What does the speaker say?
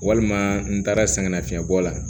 Walima n taara sɛgɛnnafiɲɛbɔ la